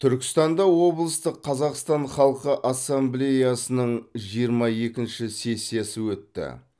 түркістанда облыстық қазақстан халқы ассамблеясының жиырма екінші сессиясы өтті